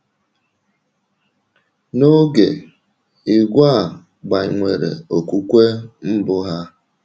N’oge, ìgwè a gbanwere okwùkwè mbụ ha.